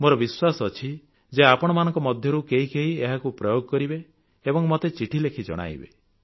ମୋର ବିଶ୍ୱାସ ଅଛି ଯେ ଆପଣମାନଙ୍କ ମଧ୍ୟରୁ କେହି କେହି ଏହାକୁ ପ୍ରୟୋଗ କରିବେ ଏବଂ ମତେ ଚିଠି ଲେଖି ଜଣାଇବେ